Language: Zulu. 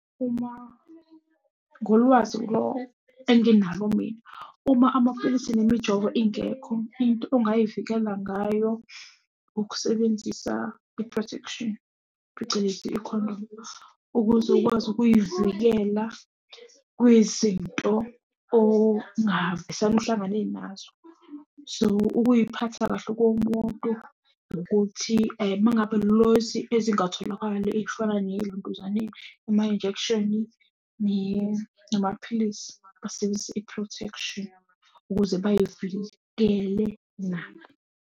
Uma ngolwazi lo enginalo mina, uma amaphilisi nemijovo ingekho, into ongay'vikela ngayo ukusebenzisa i-protection, phecelezi ikhondomu. Ukuze ukwazi ukuy'vikela kwiy'zinto ongavesane uhlangane nazo. So ukuyiphatha kahle komuntu ukuthi uma ngabe lezi ezingatholakali ey'fana nelentuzaneni ema-injekshini namaphilisi, basebenzise i-protection ukuze bay'vikele nabo.